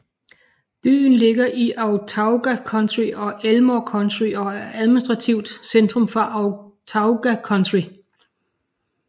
Byen ligger i Autauga County og Elmore County og er administrativt centrum for Autauga County